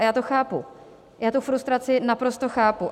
A já to chápu, já tu frustraci naprosto chápu.